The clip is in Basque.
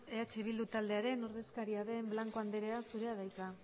eh bildu taldearen ordezkaria den blanco anderea zurea da hitza